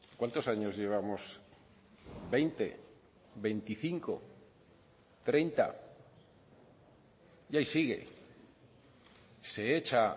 cuántos años llevamos veinte veinticinco treinta y ahí sigue se echa